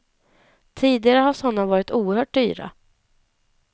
Tidigare har sådana varit oerhört dyra.